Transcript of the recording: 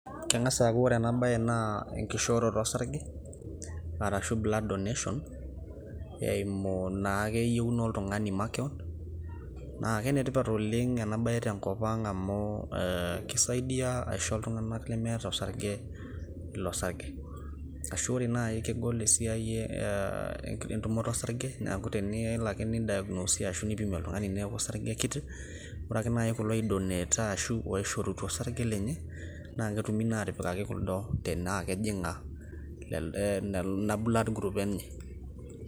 Keng'as aaku kore ena naa enkishooroto osarge, arashu blood donation, eimu naa yienu naa oltung'ani makewon. Naake enetipat enabae te nkop ang' amu, keisaidia aisho iltung'ana lemeeta osarge ilo sarge. Ashu kore naai kegol esiai entumoto osarge neaku tenelo ake neidiagnosi ashu neipimi oltung'ani neaku osarge kiti. Kore ake naaji kulo ogira ai donate ashu oishorutua osarge lenye, naake etumi naa atipikaki kuldo tanaa kejinga ina blood group enye.